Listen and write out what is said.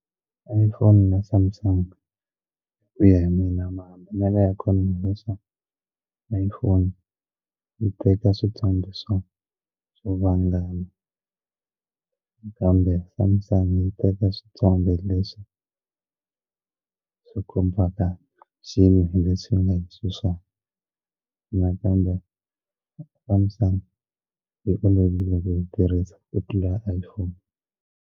Iphone na samsung ku ya hi mina mahambanelo ya ikhonomi leswa iphone yi teka swithombe swo swo vangama kambe samsung yi teka swithombe leswi swi kombaka xilo hi leswi xi nga hi swisona nakambe Samsung hi olovile ku yi tirhisa ku tlula iPhone.